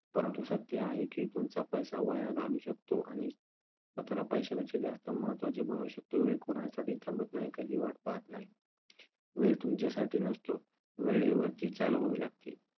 परंतु सत्य हे आहे की तुमचा पैसा वाया घालवू शकतो आणि स्वतःला पैशापेक्षा जास्त महत्त्वाचे बनवू शकतो. वेळ कोणासाठीही थांबत नाही, कधी वाट पाहत नाही. वेळ तुमच्यासाठी नसतो, वेळेवरती चालवावे लागते.